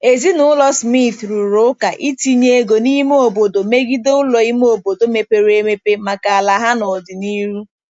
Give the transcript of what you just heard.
Ezinụlọ Smith rụrụ ụka itinye ego n'ime obodo megide ụlọ ime obodo mepere emep maka ala ha n'ọdịnihu.